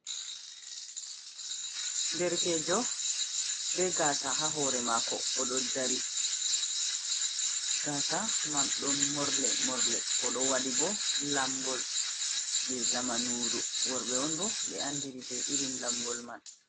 Derkejo be gaasa ha hoore mako, oɗo dari gaasa man ɗon morle more, oɗo waɗi bo lamgol jei zamanuru, worɓe on bo ɓe andiri be irin lamgol man.